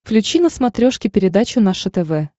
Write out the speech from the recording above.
включи на смотрешке передачу наше тв